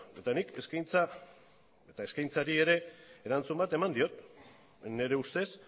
eta nik eskaintza eta eskaintzari ere erantzun bat eman diot nire ustez